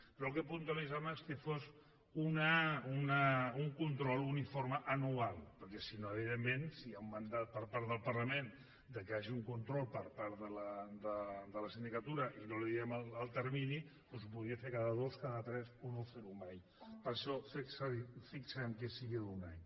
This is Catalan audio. però el que puntualitzàvem és que fos un control un informe anual perquè si no evidentment si hi ha un mandat per part del parlament que hi hagi un control de la sindicatura i no li diem el termini doncs ho podria fer cada dos cada tres o no fer ho mai per això fixem que sigui d’un any